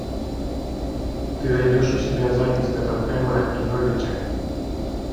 ты найдешь у себя запись тоттенхэма и норвича